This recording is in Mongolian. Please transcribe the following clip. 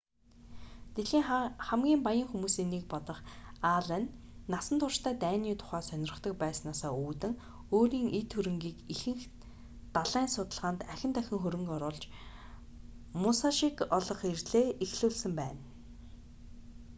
дэлхийн хамгийн баян хүмүүсийн нэг болох аллен насан туршдаа дайны тухай сонирхдог байснаасаа үүдэн өөрийн эд хөрөнгийг ихэнхийг далайн судалгаанд ахин дахин хөрөнгө оруулж мусашиг олох эрлээ эхлүүлсэн байдаг